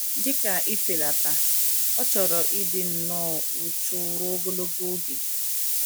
Dị ka ifelata, ọ chọrọ ịdị nnọọ uchu ruo ogologo oge.